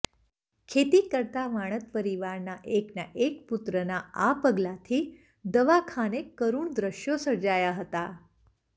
ખેતી કરતા વાણદ પરિવાર ના એકના એક પુત્રના આ પગલાથી દવાખાને કરૂણ દ્રશ્યો સર્જાયા હતા